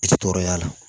I ti tɔɔrɔ y'a la